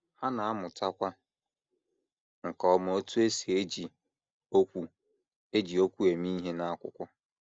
Ha na - amụtakwa nke ọma otú e si eji okwu eji okwu eme ihe n’akwụkwọ.